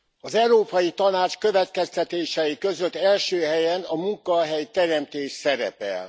Az Európai Tanács következtetései között első helyen a munkahelyteremtés szerepel.